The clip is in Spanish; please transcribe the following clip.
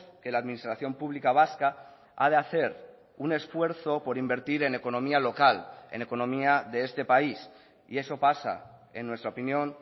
que la administración pública vasca ha de hacer un esfuerzo por invertir en economía local en economía de este país y eso pasa en nuestra opinión